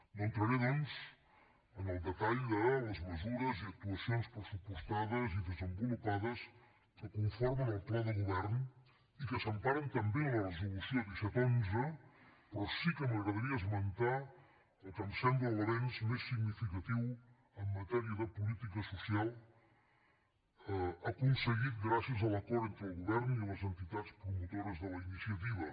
no entraré doncs en el detall de les mesures i actuacions pressupostades i desenvolupades que conformen el pla de govern i que s’emparen també en la resolució disset xi però sí que m’agradaria esmentar el que em sembla l’avenç més significatiu en matèria de política social aconseguit gràcies a l’acord entre el govern i les entitats promotores de la iniciativa